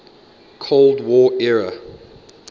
cold war era